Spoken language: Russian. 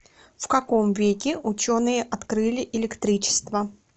в каком веке ученые открыли электричество